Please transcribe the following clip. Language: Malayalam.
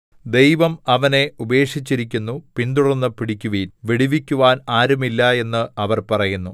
ദൈവം അവനെ ഉപേക്ഷിച്ചിരിക്കുന്നു പിന്തുടർന്ന് പിടിക്കുവിൻ വിടുവിക്കുവാൻ ആരുമില്ല എന്ന് അവർ പറയുന്നു